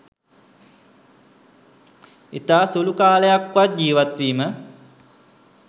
ඉතා සුළු කාලයක් වත් ජීවත් වීම